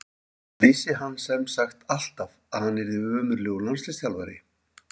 Vissi hann sem sagt alltaf að hann yrði ömurlegur landsliðsþjálfari?